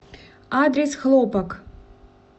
адрес хлопок